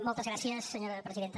moltes gràcies senyora presidenta